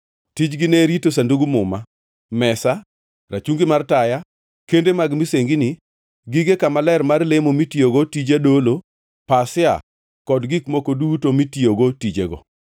Tijgi ne en rito Sandug Muma, mesa, rachungi mar taya, kende mag misengini, gige kama ler mar lemo mitiyogo tije dolo, pasia, kod gik moko duto mitiyogo tijego.